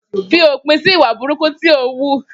Fi òpín si ìwá búrùkú tọ ń wú!